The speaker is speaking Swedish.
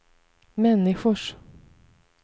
människors